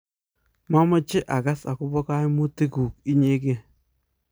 mameche akas akobo kaimutik kuk inyegei